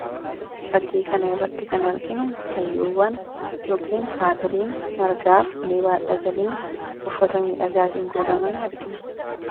Fakkii kana irratti kan arginu hayyuuwwan yookiin haadholiin margaafi ulee baadhatanii uffata miidhagaatiin kuulamanii argina.